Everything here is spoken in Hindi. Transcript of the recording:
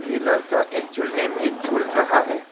ये लड़का एक झूलने में झूल रहा है।